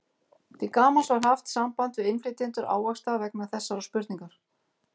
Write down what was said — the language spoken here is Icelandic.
Til gamans var haft samband við innflytjendur ávaxta vegna þessarar spurningar.